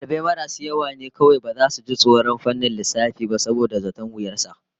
Dalibai marasu yawa ne kawai baza su ji tsoron fannin lissafi ba saboda zaton wuyar sa